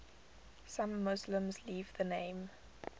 some muslims leave the name